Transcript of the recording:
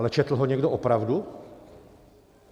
Ale četl ho někdo opravdu?